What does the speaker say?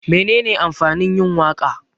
Menene amfanin yin waka?